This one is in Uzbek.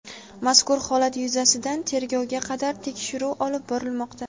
Mazkur holat yuzasidan tergovga qadar tekshiruv olib borilmoqda.